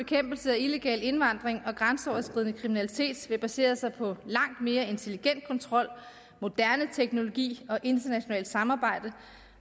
af illegal indvandring og grænseoverskridende kriminalitet vil basere sig på langt mere intelligent kontrol moderne teknologi og internationalt samarbejde